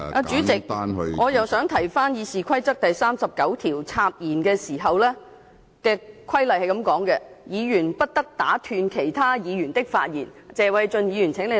主席，我再一次引述《議事規則》第39條有關插言的規定，即議員不得打斷其他議員的發言，請謝偉俊議員留意。